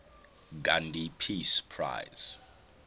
gandhi peace prize